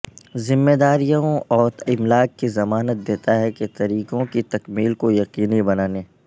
ذمہ داریوں اور املاک کی ضمانت دیتا ہے کے طریقوں کی تکمیل کو یقینی بنانے